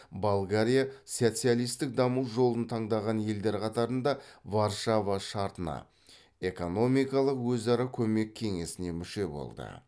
болгариясоциалистік даму жолын таңдаған елдер қатарында варшава шартына экономикалық өзара көмек кеңесіне мүше болды